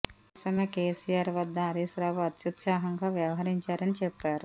ఇందుకోసమే కేసీఆర్ వద్ద హరీష్ రావు అత్యుత్సాహంగా వ్యవహరించారని చెప్పారు